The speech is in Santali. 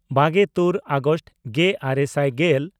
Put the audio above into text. ᱵᱟᱜᱮᱼᱛᱩᱨ ᱟᱜᱚᱥᱴ ᱜᱮᱼᱟᱨᱮ ᱥᱟᱭ ᱜᱮᱞ